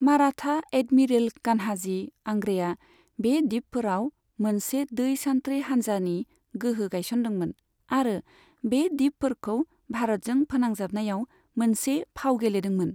Maratha admiral Kanhoji आंग्रेया बे दिपफोराव मोनसे दै सान्थ्रि हानजानि गोहो गायसनदोंमोन आरो बे दिपफोरखौ भारतजों फोनांजाबनायाव मोनसे फाव गेलेदोंमोन।